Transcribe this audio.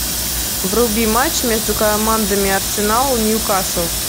вруби матч между командами арсенал и ньюкасл